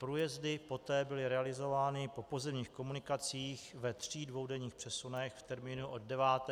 Průjezdy poté byly realizovány po pozemních komunikacích ve třech dvoudenních přesunech v termínu od 9. do 14. září.